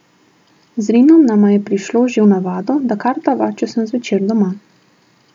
Z Rinom nama je prišlo že v navado, da kartava, če sem zvečer doma.